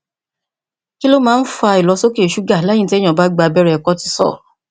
kí ló máa ń fa ìlọsókè ṣúgà lẹyìn téèyàn bá gba abẹrẹ kotisọọlù